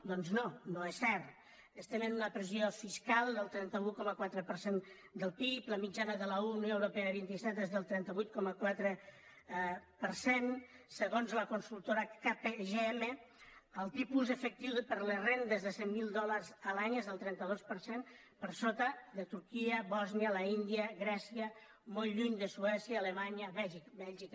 doncs no no és cert estem en una pressió fiscal del trenta un coma quatre per cent del pib la mitjana de la unió europea dels vinti set és del trenta vuit coma quatre per cent segons la consultora kpmg el tipus efectiu per a les rendes de cent mil dòlars l’any és del trenta dos per cent per sota de turquia bòsnia l’índia grècia molt lluny de suècia alemanya bèlgica